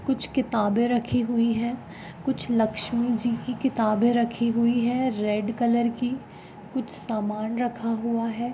कुछ किताबे रखी हुई है कुछ लक्ष्मीजी की किताबे रखी हुई है रेड कलर की कुछ सामान रखा हुआ है।